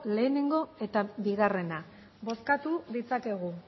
lehenengo eta bigarrena bozkatu ditzakegu